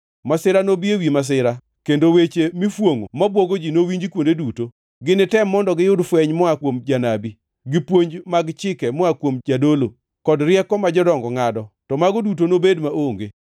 Masira nobi ewi masira, kendo weche mifwongʼo mabwogo ji nowinji kuonde duto. Ginitem mondo giyud fweny moa kuom janabi, gi puonj mag chike moa kuom jadolo, kod rieko ma jodongo ngʼado, to mago duto nobed maonge.